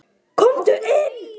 Komdu inn